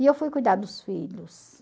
E eu fui cuidar dos filhos.